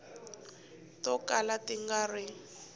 to kala ti nga ri